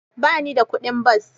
Ba ni da kuɗin bas.